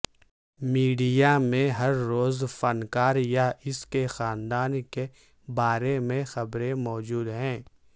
media میں ہر روز فنکار یا اس کے خاندان کے بارے میں خبریں موجود ہیں